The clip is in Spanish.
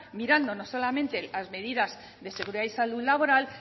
mirando no solamente las medidas de seguridad y salud laboral